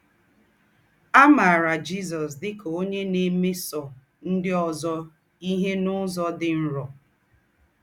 À máarà Jízọ̀s dị́ kà ónyè ná-èmésọ̀ ńdị́ ózọ íhe n’ụ́zọ̀ dị́ nrọ.